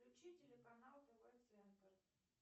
включи телеканал тв центр